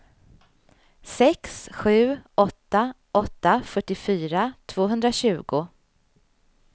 sex sju åtta åtta fyrtiofyra tvåhundratjugo